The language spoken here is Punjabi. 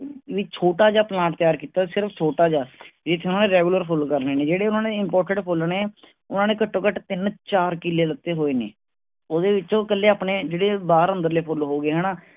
ਵੀ ਛੋਟਾ ਜਿਹਾ plant ਤਿਆਰ ਕੀਤਾ। ਸਿਰਫ ਛੋਟਾ ਜਿਹਾ। ਜਿਸ ਵਿਚ regular ਫੁੱਲ ਕਰਨੇ ਨੇ ਜਿਹੜੇ ਉਨ੍ਹਾਂਨੇ imported ਫੁੱਲ ਨੇ ਉਨ੍ਹਾਂਨੇ ਘਟ ਤੋਂ ਘਟ ਤਿਨ-ਚਾਰ ਕਿਲੇ ਲਿੱਤੇ ਹੋਏ ਨੇ. ਉਹਦੇ ਵਿਚੋਂ ਕਲੇ ਜਿਹੜੇ ਆਪਣੇ ਬਾਹਰ-ਅੰਦਰ ਲੈ ਫੁੱਲ ਹੋ ਗਿਏ ਹਣਾ